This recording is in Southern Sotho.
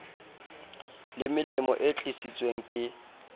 le melemo e tlisitsweng ke